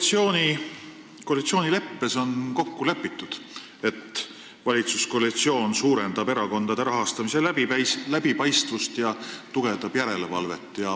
Teie koalitsioonileppes on kokku lepitud, et valitsus suurendab erakondade rahastamise läbipaistvust ja tugevdab järelevalvet.